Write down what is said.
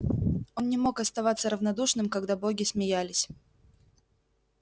он не мог оставаться равнодушным когда боги смеялись